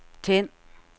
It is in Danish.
tænd